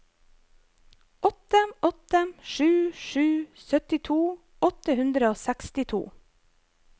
åtte åtte sju sju syttito åtte hundre og sekstito